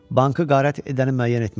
Bankı qarət edəni müəyyən etmişəm.